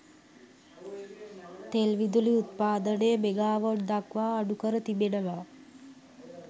තෙල් විදුලි උත්පාදනය මෙගාවොට්දක්වා අඩුකර තිබෙනවා